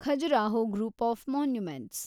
Khajuraho group of monuments